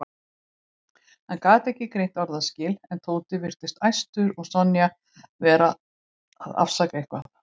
Hann gat ekki greint orðaskil en Tóti virtist æstur og Sonja vera að afsaka eitthvað.